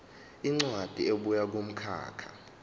incwadi ebuya kumkhakha